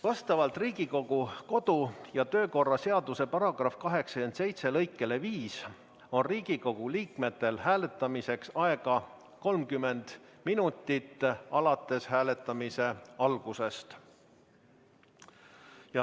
Vastavalt Riigikogu kodu- ja töökorra seaduse § 87 lõikele 5 on Riigikogu liikmetel hääletamiseks aega 30 minutit hääletamise algusest.